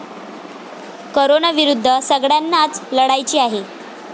कोरोनाविरुद्ध सगळय़ांनाच लढायचे आहे.